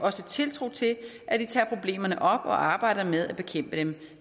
også tiltro til at de tager problemerne op og arbejder med at bekæmpe dem